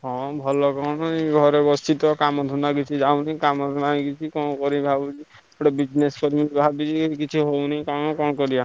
ହଁ ଭଲ କଣ ଏଇ ଘରେ ବସିଛି ତ କାମ ଧନ୍ଦା କିଛି ଯାଉନି ଗୋଟେ business କିଛି ହୋଇନି କାମ କଣ କରିବା।